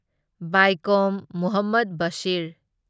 Vaikom Muhammad Bashir